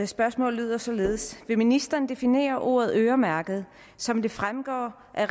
spørgsmålet lyder således vil ministeren definere ordet øremærke som det fremgår af